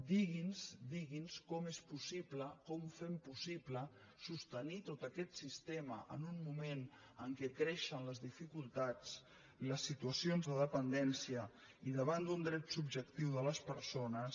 digui’ns digui’ns com és possible com ho fem possible sostenir tot aquest sistema en un moment en què creixen les dificultats les situacions de dependència i davant d’un dret subjectiu de les persones